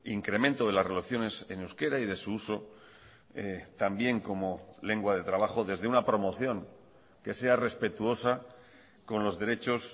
incremento de las relaciones en euskera y de su uso también como lengua de trabajo desde una promoción que sea respetuosa con los derechos